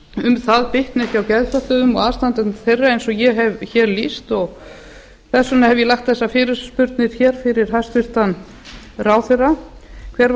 um það bitna ekki á geðfötluðum og aðstandendum þeirra eins og ég hef hér lýst þess vegna hef ég lagt þessa fyrirspurn fyrir hæstvirtan ráðherra hver varð